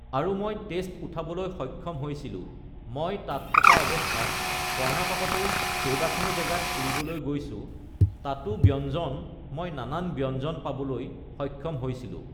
আৰু মই টেষ্ট উঠাবলৈ সক্ষম হৈছিলোঁ মই ugh তাত থকা অৱস্থাত ugh কৰ্ণাটকতো কেইবাখনো জেগাত ফুৰিবলৈ গৈছোঁ তাতো ব্য়ঞ্জন মই নানান ব্যঞ্জন পাবলৈ সক্ষম হৈছিলোঁ